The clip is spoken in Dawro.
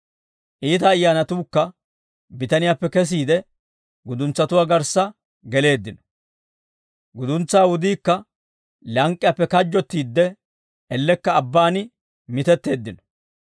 Iita ayyaanatuukka bitaniyaappe kesiide guduntsatuwaa garssa geleeddino. Guduntsaa wudiikka lank'k'iyaappe kajjottiidde ellekka abbaan mitetteeddino.